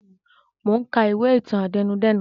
Mo ka ìwé ìtàn àtẹnudẹ́nu